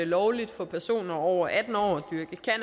det lovligt for personer over atten år